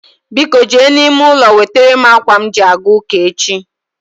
Biko jee n'ime ụlọ wetara m ákwà m ji a ga ụ́kà echi